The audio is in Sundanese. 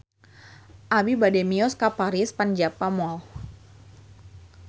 Abi bade mios ka Paris van Java Mall